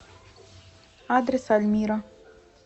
адрес альмира